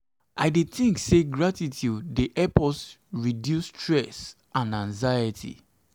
i dey think say gratitude dey help us to reduce stress and anxiety.